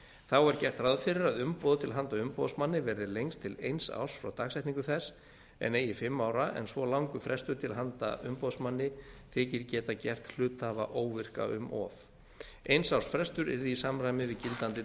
þá er gert ráð fyrir að umboð til handa umboðsmanni verði lengd til eins árs frá dagsetningu þess en eigi fimm ára en svo langur frestur til handa umboðsmanni þykir geta gert hluthafa óvirka um of eins árs frestur yrði í samræmi við gildandi